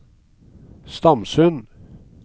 Stamsund